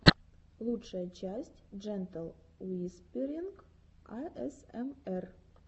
лучшая часть джентл уисперинг асмр